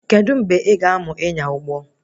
Kedụ mgbe ị ga-amụ ịnya ụgbọ?